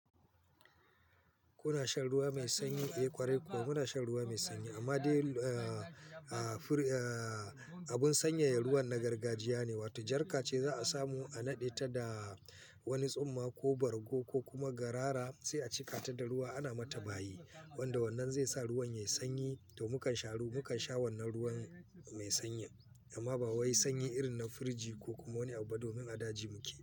Kuna shan ruwa mai sanyi? Eh ƙwarai kuwa muna shan ruwa mai sanyi amma dai a a abun sanya ruwan na gargajiya ne wato jarka ce za a samu a naɗe ta da wani tsumma ko bargo ko kuma garara sai a cika ta da ruwa ana mata bayi wanda wannan zai sa ruwan yayi sanyi to mukan sha ruwa, mukan sha wannan ruwan mai sanyin amma ba wai sanyi irin na firiji ko kuma wani abu ba domin a daji muke.